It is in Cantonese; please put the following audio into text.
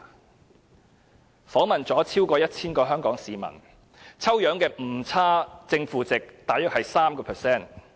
這項調查訪問了超過 1,000 名香港市民，抽樣的誤差正負值大約是 3%。